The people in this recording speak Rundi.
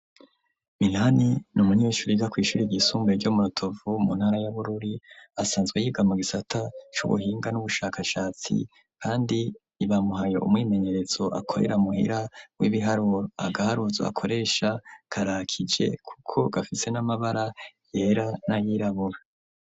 Minani ni umunyeshure yiga kw'ishure ryisumbuye ryo mu Rutovu, mu ntara ya Bururi, asanzwe yiga mu gisata c'ubuhinga n'ubushakashatsi kandi bamuhaye umwimenyerezo akorera muhira w'ibiharuro, agaharuzo akoresha karakije kuko gafise n'amabara yera n'ayirabura.